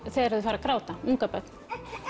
þegar þau fara að gráta ungabörn